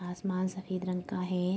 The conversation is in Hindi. आसमान सफेद रंग का है |